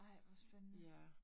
Ej, hvor spændende